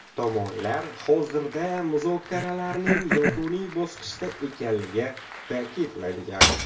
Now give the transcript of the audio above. Tomonlar hozirda muzokaralarning yakuniy bosqichida ekanligi ta’kidlangan.